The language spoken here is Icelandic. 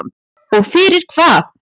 Og fyrir hvað?